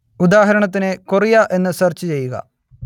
ഉദാഹരണത്തിന് കൊറിയ എന്നു സെർച്ച് ചെയ്യുക